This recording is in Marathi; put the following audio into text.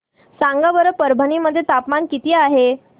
सांगा बरं परभणी मध्ये तापमान किती आहे